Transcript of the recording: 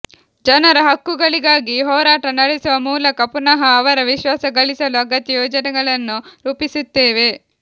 ಜನರ ಹಕ್ಕುಗಳಿಗಾಗಿ ಹೋರಾಟ ನಡೆಸುವ ಮೂಲಕ ಪುನಃ ಅವರ ವಿಶ್ವಾಸ ಗಳಿಸಲು ಅಗತ್ಯ ಯೋಜನೆಗಳನ್ನು ರೂಪಿಸುತ್ತೇವೆ